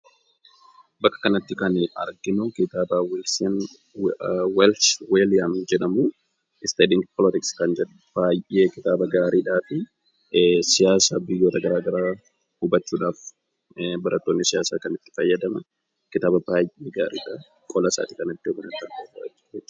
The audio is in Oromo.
Bakka kanatti kan arginu kitaaba study in politic welsh william jedhamudha. Baay'ee kitaaba gaarii fi siyaasa biyyoota garaagaraa hubachuudhaaf barattoonni itti fayyadaman kitaaba baay'ee gaariidha. Qolasaa argaa jirra.